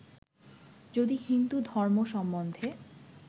যদি হিন্দু ধর্ম সম্বন্ধে